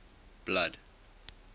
blood